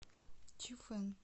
чифэн